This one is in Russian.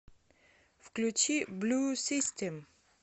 включи блю систем